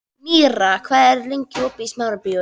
Míra, hvað er opið lengi í Smárabíói?